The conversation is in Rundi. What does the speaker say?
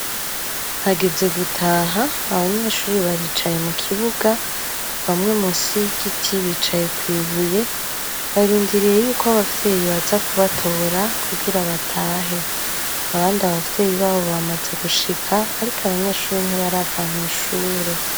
Hageze gutaha, abanyeshure baricaye mu kibuga, bamwe munsi y'igiti bicaye kw'ibuye, barindiriye yuko abavyeyi baza kubatora kugira batahe. Abandu abavyyeyui babo bamaze gushika, ariko abanyeshure ntibarava mw'ishure.